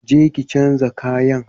Je ki chanza kayan!